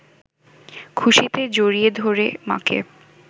খুশিতে জড়িয়ে ধরে মাকে।